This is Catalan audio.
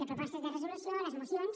les propostes de resolució les mocions